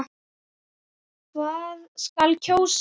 Hvað skal kjósa?